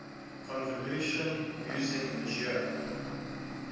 convolution using meijer